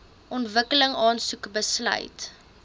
ontwikkeling aansoek besluit